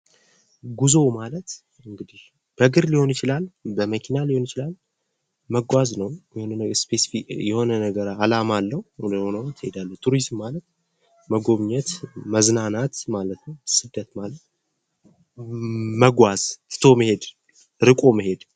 ጉዞ ማለት እንግዲህ በግር ሊሆን ይችላል በመኪና ሊሆን ይችላል መጓዝ ነው የሆነ ነገር አላማ አለው ይሄዳሉ ፤ ቱሪዝም ማለት የሆነ ነገር ለመጎብኘት፥ መዝናናት ማለት ነው። ስደት ማለት መጓዝ መሄድ ርቆ መሄድ ማለት ነው።